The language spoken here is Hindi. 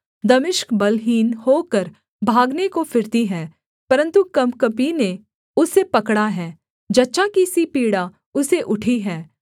दमिश्क बलहीन होकर भागने को फिरती है परन्तु कँपकँपी ने उसे पकड़ा है जच्चा की सी पीड़ा उसे उठी हैं